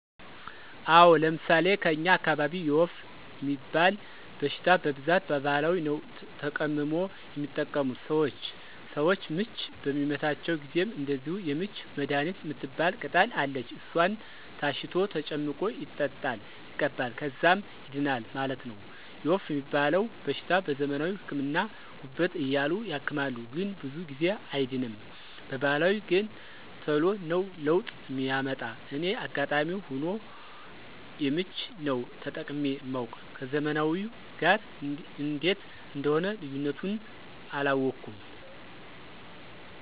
አወ፤ ለምሣሌ ከኛ አካባቢ የወፍ ሚባል በሽታ በብዛት በባህላዊ ነዉ ተቀምሞ የሚጠቀሙት ሰወች። ሰወች ምች በሚመታቸው ጊዜም እንደዚሁ የምች መድሀኒት ምትባል ቅጠል አለች እሷን ታሽቶ ተጨምቆ ይጠጣል ይቀባል ከዛም ይድናል ማለት ነው። የወፍ ሚባለዉ በሽታ በዘመናዊ ህክምና ጉበት እያሉ ያክማሉ ግን ብዙ ጊዜ አይድንም በባህላዊ ገን ተሎ ነው ለውጥ ሚያመጣ እኔ አጋጣሚ ሁኖ የምች ነው ተጠቅሜ ማውቅ ከዘመናዊው ጋር እንዴት እንደሆነ ልዩነቱን አላወኩም።